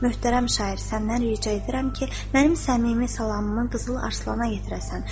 Möhtərəm şair, səndən rica edirəm ki, mənim səmimi salamımı Qızıl Arsana yetirəsən.